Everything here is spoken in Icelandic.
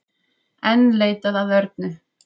Enn leitað að Örnu